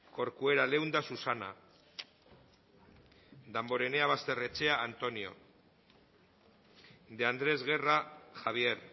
corcuera leunda susana damborenea basterrechea antonio de andrés guerra javier